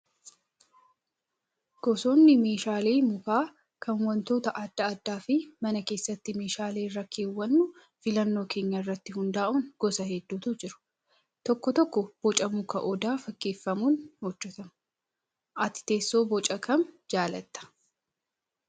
Gosoonni meeshaalee mukaa kan wantoota adda addaa fi mana keessatti meeshaalee irra keewwannu filannoo keenya irratti hundaa'uun gosa hedduutu jira. Tokko tokko Boca muka odaa fakkeeffamuun hojjatamu. Ati teessoo Boca kam jaallattaa?